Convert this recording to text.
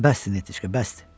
Bəsdir Netiçka, bəsdir.